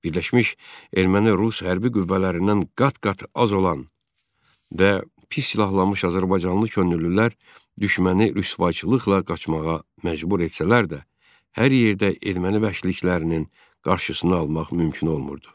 Birləşmiş erməni-rus hərbi qüvvələrindən qat-qat az olan və pis silahlanmış azərbaycanlı könüllülər düşməni rüsvayçılıqla qaçmağa məcbur etsələr də, hər yerdə erməni vəhşiliklərinin qarşısını almaq mümkün olmurdu.